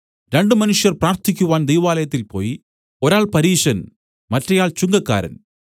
രണ്ടു മനുഷ്യർ പ്രാർത്ഥിക്കുവാൻ ദൈവാലയത്തിൽ പോയി ഒരാൾ പരീശൻ മറ്റെയാൾ ചുങ്കക്കാരൻ